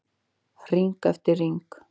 Hring eftir hring.